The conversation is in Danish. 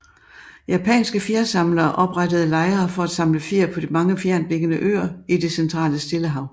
Japanske fjersamlere oprettede lejre for at samle fjer på mange fjerntliggende øer i det centrale stillehav